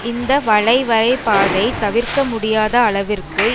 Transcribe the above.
இந்த வளைவரைபாதை தவிர்க்க முடியாத அளவிற்கு